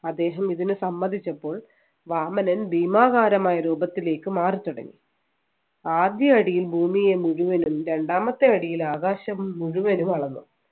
അദ്ദേഹം ഇതിന് സമ്മതിച്ചപ്പോൾ വാമനൻ ഭീമാകരനായ രൂപത്തിലേക്ക് മാറിത്തുടങ്ങി ആദ്യ അടിയിൽ ഭൂമിയെ മുഴുവനും രണ്ടാമത്തെ അടിയിൽ ആകാശം മുഴുവനും അളന്നു